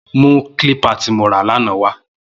Mù klípà ti mó rà làná wà